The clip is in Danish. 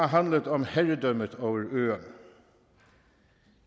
har handlet om herredømmet over øerne